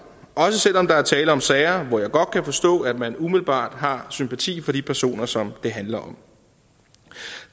også selv om der er tale om sager hvor jeg godt kan forstå at man umiddelbart har sympati for de personer som det handler om